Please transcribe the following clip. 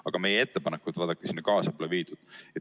Aga meie ettepanekut sinna kaasa pole võetud.